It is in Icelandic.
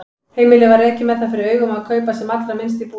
Heimilið var rekið með það fyrir augum að kaupa sem allra minnst í búðum.